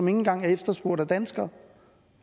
engang er efterspurgt af danskere